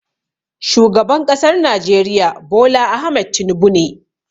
Shugaban ƙasar najeriya Bola Ahmed Tinubu ne